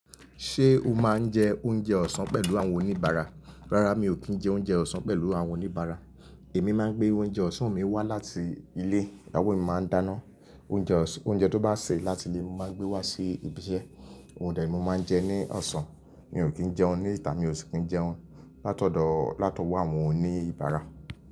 Ṣé o máa ń jẹ oúnjẹ ọ̀sán pẹ̀lú àwọn oníbàárà? Rárá mi ò kí ń jẹ oúnjẹ ọ̀sán pẹ̀lú àwọn oníbàárà. Èmi máa ń gbé oúnjẹ ọ̀sán mi wá láti ilé. Báwo ni màá dá iná? Oúnjẹ tó bá ṣẹ́ láti ilé mo máa gbé wá sí ibi iṣẹ́. Òun de ni mo máa ń jẹ ní ọ̀sán. Mi ò kí ń jẹun ní ìta. Mi ò sì kí ń jẹun látọ̀dọ̀ àwọn oníbàárà.